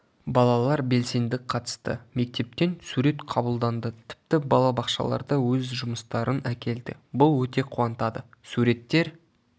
балалар белсенді қатысты мектептен сурет қабылданды тіпті балабақшаларда өз жұмыстарын әкелді бұл өте қуантады суреттер